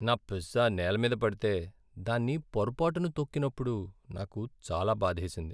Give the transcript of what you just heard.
నా పిజ్జా నేల మీద పడితే, దాన్ని పొరపాటున తొక్కినప్పుడు నాకు చాలా బాధేసింది.